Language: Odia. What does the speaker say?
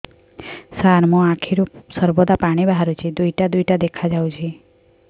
ସାର ମୋ ଆଖିରୁ ସର୍ବଦା ପାଣି ବାହାରୁଛି ଦୁଇଟା ଦୁଇଟା ଦେଖାଯାଉଛି